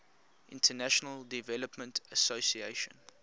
international development association